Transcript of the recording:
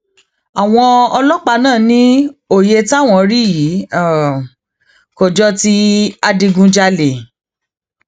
àwọn ọlọpàá náà ní òye táwọn rí yìí kò jọ ti adigunjalè